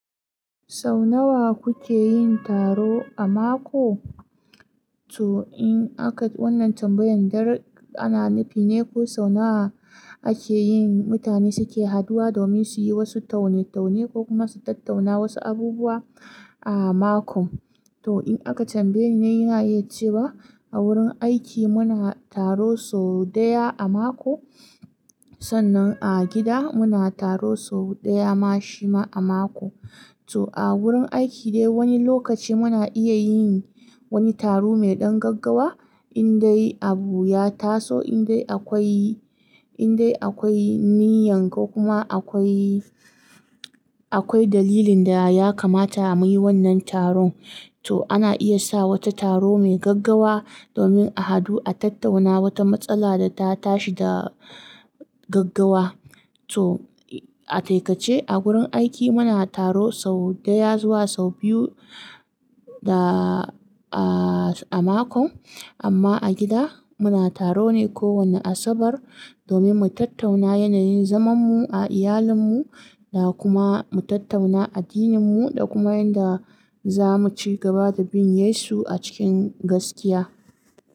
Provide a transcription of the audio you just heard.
Sau nawa kuke yin taro a mako? To in aka wannan tambayan dar ana nufi ne ko sau nawa ake yin mutane suke haduwa domin su yi wasu taune-taune ko kuma su tattauna wasu abubuwa a mako. To in aka tambayi ni ina iya ce wa a wurin aiki muna taro sau ɗaya a mako, sannan a gida muna taro sau ɗaya ma shi ma a mako. To a wurin aiki dai wani lokaci muna iya yin wani taro mai ɗan gaggawa in dai abu ya taso, in dai akwai, in dai akwai niyya ko kuma akwai, akwai dalilin da ya kamata a mu yi wannan taron. To ana iya sa wata taro mai gaggawa domin a hadu a tattauna wata matsala da ta tashi da gaggawa. To a taikace a gurin aiki muna taro sau ɗaya zuwa sau biyu da a, a makon. Amma a gida muna taro ne kowane Asabar domin mu tattauna yanayin zamanmu a iyalinmu da kuma mu tattauna addininmu da kuma yanda za mu ci gaba da bin Yesu a cikin gaskiya.